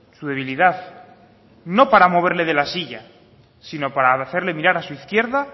su debilidad no para moverle de la silla sino para hacerle mirar a su izquierda